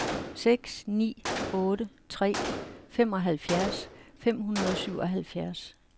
seks ni otte tre femoghalvfjerds fem hundrede og syvoghalvfjerds